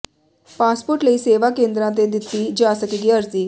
passport ਲਈ ਸੇਵਾ ਕੇਂਦਰਾਂ ਤੇ ਦਿੱਤੀ ਜਾ ਸਕੇਗੀ ਅਰਜ਼ੀ